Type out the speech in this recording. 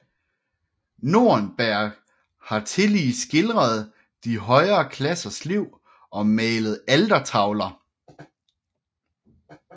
Nordenberg har tillige skildret de højere klassers liv og malet altertavler